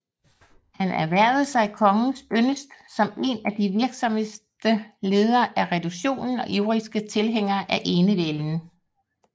Han erhvervede sig kongens yndest som en af de virksomste ledere af reduktionen og ivrigste tilhængere af enevælden